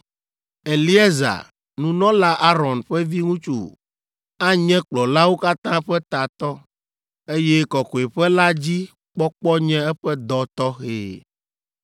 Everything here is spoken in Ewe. Eleazar, nunɔla Aron ƒe viŋutsu anye kplɔlawo katã ƒe tatɔ, eye kɔkɔeƒe la dzi kpɔkpɔ nye eƒe dɔ tɔxɛ.